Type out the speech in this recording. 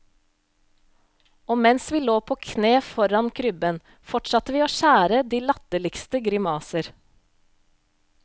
Og mens vi lå på kne foran krybben, fortsatte vi å skjære de latterligste grimaser.